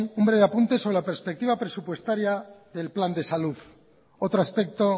un breve apunte sobre la perspectiva presupuestaria del plan de salud otro aspecto